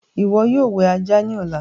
ìwo yóò wẹ ajá ní Ọlá.